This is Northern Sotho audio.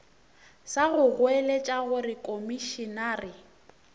sa go goeletša gore komišenare